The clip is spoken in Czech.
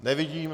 Nevidím.